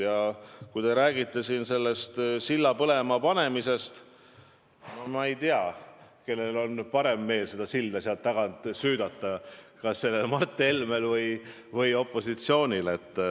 Ja kui te räägite siin silla põlema panemisest – no ma ei tea, kellel on parem meel seda silda sealt tagant süüdata, kas Mart Helmel või opositsioonil.